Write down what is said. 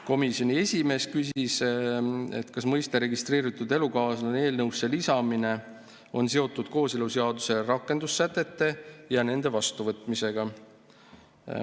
Komisjoni esimees küsis, kas mõiste "registreeritud elukaaslane" eelnõusse lisamine on seotud kooseluseaduse rakendussätete ja nende vastuvõtmisega.